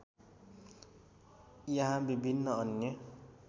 यहाँ विभिन्न अन्य